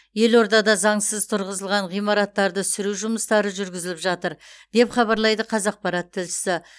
елордада заңсыз тұрғызылған ғимараттарды сүру жұмыстары жүргізіліп жатыр деп хабарлайды қазақпарат тілшісі